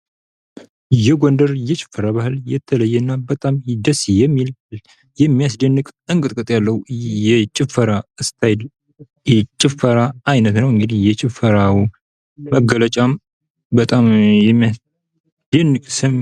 የጎንደር የጭፈራ ባህል የተለየና በጣም ደስ የሚል የሚያስደንቅ እንቅጥቅጥ ያለው የጭፈራ አይነት ነው ። እንግዲህ የጭፈራው መገለጫ በጣም የሚያስደንቅ ስም